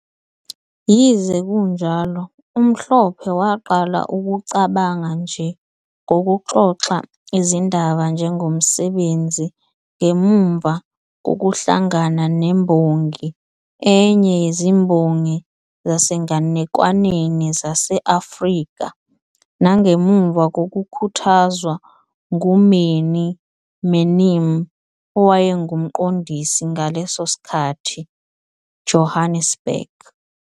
Yize kunjalo, uMhlophe waqala ukucabanga nje ngokuxoxa izindaba njengomsebenzi ngemuva kokuhlangana ne- Imbongi, enye yezimbongi zasenganekwaneni zase-Afrika, nangemuva kokukhuthazwa ngu- Mannie Manim, owayengumqondisi ngaleso sikhathi ], Johannesburg.